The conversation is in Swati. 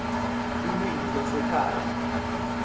lulwimi lwabo lwasekhaya